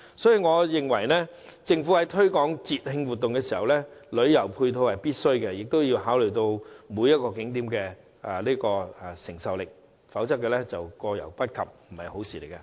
因此，我認為政府在推廣節慶活動時，必須考慮旅遊配套，亦要考慮景點的承受力，否則，過猶不及未必是好事。